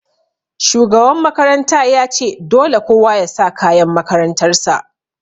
Shugaban makaranta ya ce 'Dole kowa ya sa kayan makarantar sa'!